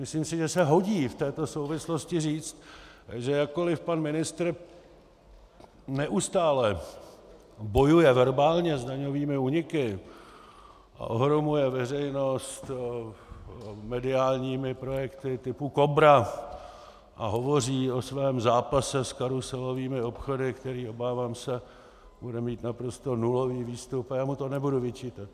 Myslím si, že se hodí v této souvislosti říct, že jakkoli pan ministr neustále bojuje verbálně s daňovými úniky a ohromuje veřejnost mediálními projekty typu Kobra a hovoří o svém zápase s karuselovými obchody, který, obávám se, bude mít naprosto nulový výstup - a já mu to nebudu vyčítat.